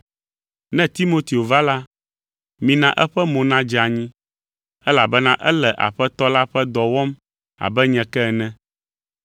Ne Timoteo va la, mina eƒe mo nadze anyi, elabena ele Aƒetɔ la ƒe dɔ wɔm abe nye ke ene.